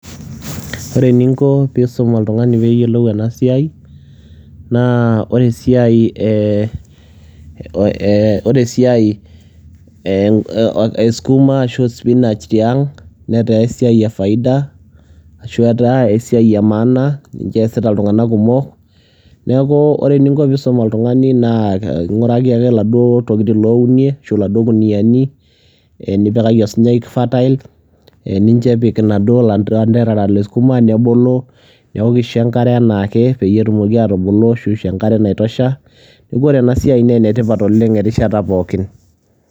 ore eningo pee isum oltungani ena siai naa ore esiai ee esukuma ashu sipinach tiang netaa esiai efaida ashu enemaana, neeku ore eningo pee isum oltungani naa inguraki iltokitin ounie, iladuoo kuniyiani nipikaki osunyai fatail nicho epik ilanterera lesukuma nebukoki engare enaake neeku ore ena siai naa enetipat oleng erishata pooki.